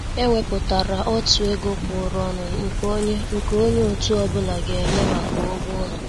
È wépụtárà ọ̀tụ̀ égò kwụ̀ụrụ̀ ọnụ nke ònye nke ònye òtù ọ́bụ̀la ga-ènyé maka ụ́gwọ́ ụlọ.